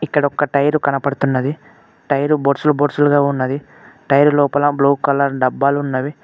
ఇక్కడొక టైర్ కనపడుతున్నది టైరు బొర్సులు బొర్సులుగా ఉన్నది టైర్ లోపల బ్లూ కలర్ డబ్బాలు ఉన్నవి.